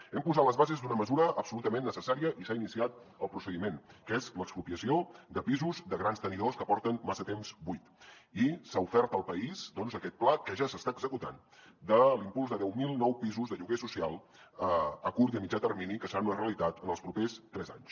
hem posat les bases d’una mesura absolutament necessària i s’ha iniciat el procediment que és l’expropiació de pisos de grans tenidors que porten massa temps buits i s’ha ofert al país doncs aquest pla que ja s’està executant de l’impuls de deu mil nous pisos de lloguer social a curt i a mitjà termini que seran una realitat en els propers tres anys